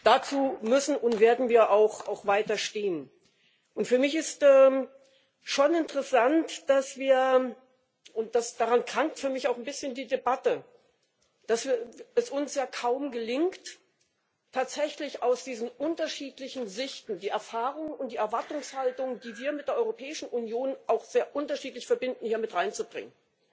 Dazu müssen und werden wir auch weiter stehen. Für mich ist schon interessant, dass und daran krankt für mich auch ein bisschen die Debatte es uns ja kaum gelingt, tatsächlich aus diesen unterschiedlichen Sichtweisen die Erfahrung und die Erwartungshaltung, die wir mit der Europäischen Union auch sehr unterschiedlich verbinden, hier mit hineinzubringen.